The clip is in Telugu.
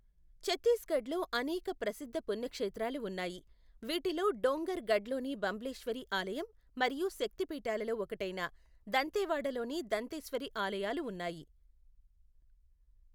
చత్తీస్గఢ్లో అనేక ప్రసిద్ధ పుణ్యక్షేత్రాలు ఉన్నాయి, వీటిలో డోంగర్ గఢ్లోని బంబ్లెేశ్వరి ఆలయం మరియు శక్తి పీఠాలలో ఒకటైన దంతెవాడలోని దంతేశ్వరి ఆలయాలు ఉన్నాయి.